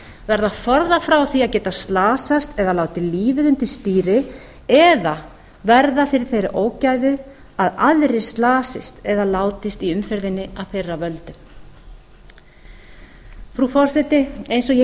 verða forðað frá því að geta slasast eða látið lífið undir stýri eða verða fyrir þeirri ógæfu að aðrir slasist eða látist í umferðinni af þeirra völdum frú forseti eins og ég